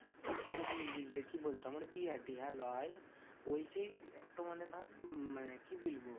কি বলতো? আমার বিহা টিহা লয়, ওই সেই একটু মানে ধর মানে কি বলবো?